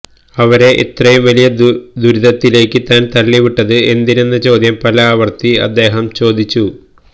അവരെ ഇത്രയും വലിയ ദുരിതത്തിലേക്ക് താൻ തള്ളിവിട്ടത് എന്തിനെന്ന ചോദ്യം പല ആവർത്തി അദ്ദേഹം ചോദിച്ചു